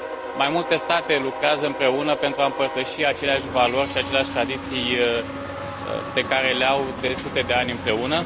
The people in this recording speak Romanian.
Mai multe state lucrează împreună pentru a împărtăși aceleași valori și aceleași tradiții pe care le au de sute de ani împreună.